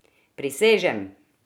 Prisežem!